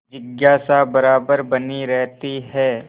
जिज्ञासा बराबर बनी रहती है